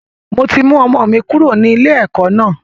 Mo ti mú ọmọ mi kúrò ní ilé ẹ̀kọ́ náà.